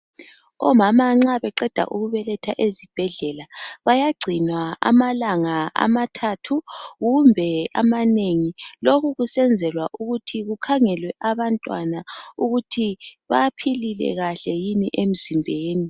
Omama nxa beqeda ukubeletha ezibhedlela bayagcinwa amalanga amathathu kumbe amanengi lokhu kusenzelwa ukuthi kukhangelwe abantwana ukuthi baphilile kahle yini emzimbeni.